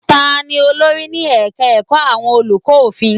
Ta ni olórí ní ẹ̀ka ẹ̀kọ́ àwọn olùkọ́ òfin?